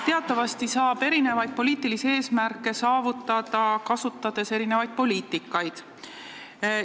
Teatavasti saab erinevaid poliitilisi eesmärke saavutada, kasutades erinevaid poliitikaid.